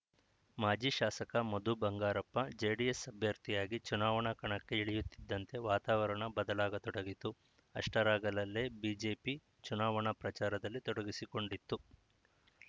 ಮಾಜಿ ಶಾಸಕ ಮಧು ಬಂಗಾರಪ್ಪ ಜೆಡಿಎಸ್‌ ಅಭ್ಯರ್ಥಿಯಾಗಿ ಚುನಾವಣಾ ಕಣಕ್ಕೆ ಇಳಿಯುತ್ತಿದ್ದಂತೆ ವಾತಾವರಣ ಬದಲಾಗತೊಡಗಿತು ಅಷ್ಟರಲ್ಲಾಗಲೇ ಬಿಜೆಪಿ ಚುನಾವಣಾ ಪ್ರಚಾರದಲ್ಲಿ ತೊಡಗಿಸಿಕೊಂಡಿತ್ತು